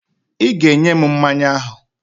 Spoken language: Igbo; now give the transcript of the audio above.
I ga-enye m mmanya ahụ!